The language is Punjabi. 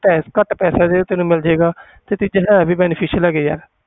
ਤੇ ਘੱਟ ਪੈਸਿਆਂ ਤੇ ਤੈਨੂੰ ਮਿਲ ਜਾਏਗਾ ਤੇ ਤੀਜਾ ਹੈ ਵੀ beneficial ਹੈਗੇ ਆ